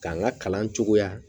K'an ka kalan cogoya